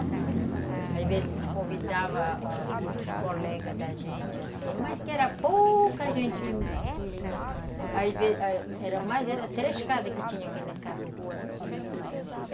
Às vezes a gente convidava outros colegas da gente, assim, mas que era pouca gente que que... Às vezes, era mais, era três casas que tinha aqui nessa rua aqui.